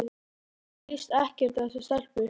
Mér líst ekkert á þessa stelpu.